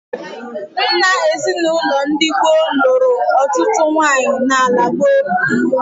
Nna ezinaụlọ ndị gboo lụrụ ọtụtụ nwaanyị n'ala Igbo.